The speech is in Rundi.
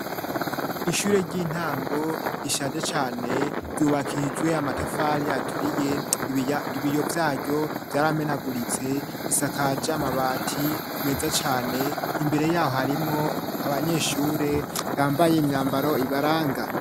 Ishure ry'intango rishaje cane ryubakijwe amatafari aturiye, ibiya, ibiyo vyaryo vyaramenaguritse; isakaje amabati meza cane. Imbere yaho harimwo abanyeshure yambaye imyambaro ibaranga.